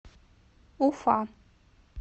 уфа